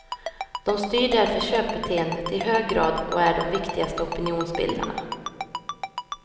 De styr därför köpbeteendet i hög grad och är de viktigaste opinionsbildarna.